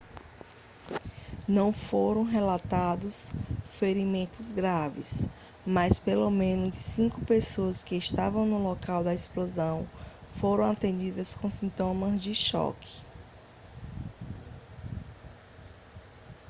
não foram relatados ferimentos graves mas pelo menos cinco pessoas que estavam no local da explosão foram atendidas com sintomas de choque